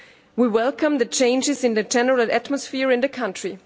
We welcome the changes in the tenor of atmosphere in the country.